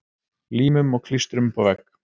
Límum og klístrum upp á vegg.